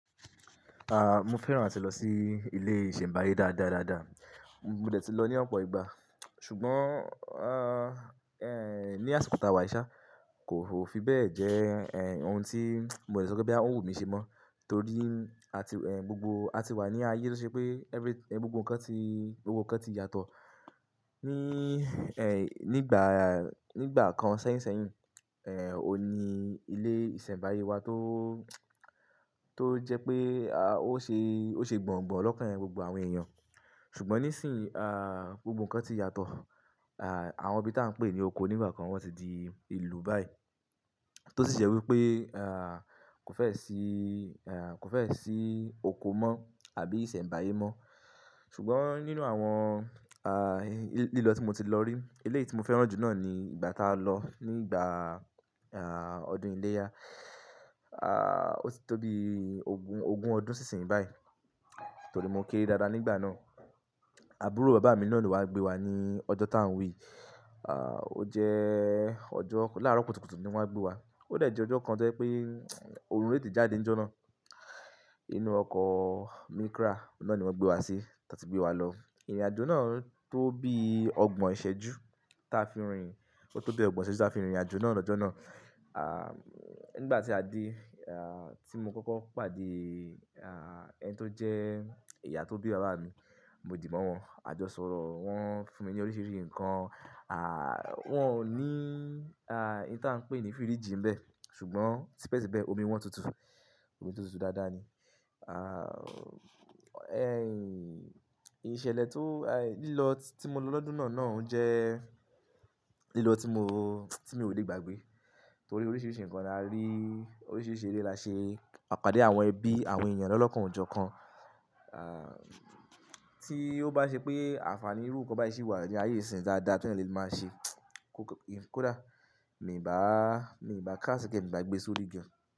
Ah, mo fẹ́ràn àti lọ sí ilé ìṣẹ̀mbáyé dáadáa dáadáa. Mo dè ti lọ ní ọ̀pọ̀ ìgbà, ṣùgbọ́n ah, ẹ́, ní àsìkò tàwà yì ṣá, kò fi bẹ́ẹ̀ jẹ́ ẹ́, ohun tí mo lè sọ pé boyà ọ wu mi ṣe mọ́, torí àti ẹ́, gbogbo a ti wà ní ayé tọ́ ṣe pé every-- gbogbo nǹkan ti gbogbo nǹkan ti yàtọ̀. Ní ẹ́, nígbà, nígbà kan sẹ́yìn sẹ́yìn, ẹ́, o ní ilé ìṣẹ̀mbáyé wa tó, tó jẹ́ pé a, ó ṣe, ó ṣe gbọ̀ǹgbọ̀ǹ lọ́kàn gbogbo àwọn èèyàn. Ṣùgbọ́n níìsín ah, gbogbo nǹkan ti yàtọ̀. Ah, àwọn ibi tí à ń pè ní oko nígbà kan wọ́n ti di ìlú báyìí. Tó sì jẹ́ wípé ah, kò fẹ́ ṣi ẹ́, kò fẹ́ ṣe oko mọ́ àbí ìṣẹ̀mbáyé mọ́. Ṣùgbọ́n nínú àwọn ah, lílọ tí mo ti lọ rí, eléyí mo fẹ́ràn jù náà ni ìgbà tá a lọ nígbà ah, ọdún iléyá. Ah, ó ti tó bí ogún, ogún ọdún síṣìn báyìí. Torí mo kéré dáadáa nígbà náà. Àbúrò bàbá mi náà lo wá gbé wa ní ọjọ́ tá ń wí. Ah, ó jẹ́ ọjọ́ láàárọ̀ kùtùkùtù ni wọ́n á gbé wa. Ó dà je ọjọ́ kan jẹ́ pé oorun tete jáde ní ọjọ́ náà. Inú ọkọ̀ Micra, ọ̀un naà ni wọ́n gbé wa sí, tán ti gbé wa lọ. Ìrìnàjò náà tó bí ọgbọ̀n ìṣẹ́jú tí a fi rìnrìn, ó tó bí ọgbọ̀n ìṣẹ́jú tí a fi rìnrìn ìrìnàjò náà lọ́jọ́ náà. Ah, nígbà tí a dé ah, tí mo kọ́kọ́ pàdé ah, ẹni tó jẹ́ ìyá tó bí bàbá mi, mo dì maa wọn, a jọ sọ̀rọ̀. Wọn fún mi ní oríṣiríṣi nǹkan. Ah, wọ́n ò ní ah, ohun tí à ń pè ní fíríjì níbẹ̀, ṣùgbọ́n tipẹ́ síbẹ̀ omi wọ́n tutù. Omi tó tutù dáadáa ni. Ah, ẹ́, ìṣẹ̀lẹ̀ tó ah, lílọ tí mo lọ lọ́dún náà náà jẹ́ lílọ tí mo, tí mo ò lè gbàgbé. Torí oríṣiríṣi nǹkan la rí, oríṣiríṣi eré la ṣe, à pàdé àwọn ẹbí, àwọn èèyàn lọ́lọ́kàn ọ jọ́ kan. Ah, tí ó bá ṣe pé àǹfàní irú nkan báyí ṣí wà ní ayé ìsìn dáadáa tí ènìyàn lè máa ṣe kó dá, mi ò bá, mi ò bá cast kini yẹn mi ò bá gbé sórí gan.